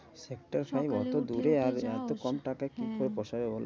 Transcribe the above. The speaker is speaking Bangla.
একটা সেই সকালে উঠে সেই অত দূরে আর যাও এত কম টাকায় হ্যাঁ কি করে পোষাবে বলতো